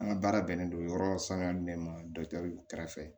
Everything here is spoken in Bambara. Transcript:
An ka baara bɛnnen don yɔrɔ saniya min ma kɛrɛfɛ